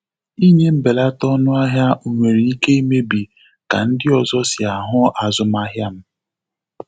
Ịnye mbelata ọnụahịa nwere ike imebi ka ndị ọzọ si ahụ azụmahịa m.